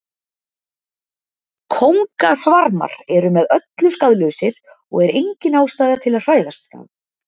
Kóngasvarmar eru með öllu skaðlausir og er engin ástæða til að hræðast þá.